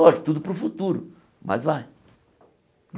Lógico, tudo para o futuro, mas vai.